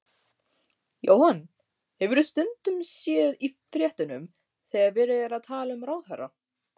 Jóhann: Hefurðu stundum séð í fréttunum þegar verið er að tala um ráðherra?